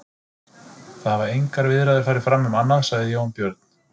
Það hafa engar viðræður farið fram um annað, sagði Jón Björn.